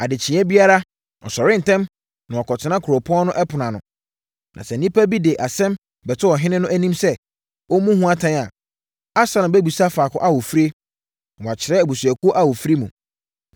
Adekyeɛ biara, ɔsɔre ntɛm na wakɔtena kuropɔn no ɛpono ano. Na sɛ nnipa bi de asɛm bɛto ɔhene no anim sɛ ɔmmu ho atɛn a, Absalom bɛbisa faako a wɔfirie, na wɔakyerɛ abusuakuo a wɔfiri mu.